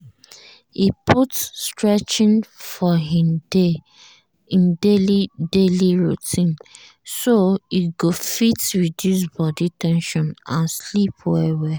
e put stretching for im daily daily routine so e go fit reduce body ten sion and sleep well well.